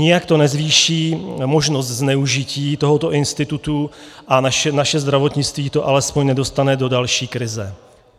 Nijak to nezvýší možnost zneužití tohoto institutu a naše zdravotnictví to alespoň nedostane do další krize.